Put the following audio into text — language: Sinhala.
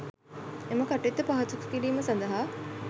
එම කටයුත්ත පහසු කිරීම සඳහා